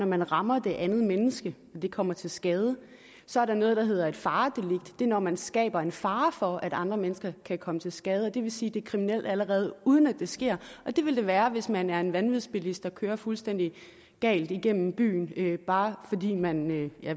man rammer det andet menneske og det kommer til skade så er der noget der hedder et faredelikt det er når man skaber en fare for at andre mennesker kan komme til skade og det vil sige at det er kriminelt allerede uden at det sker og det vil det være hvis man er en vanvidsbilist der kører fuldstændig galt igennem byen bare fordi man hvad det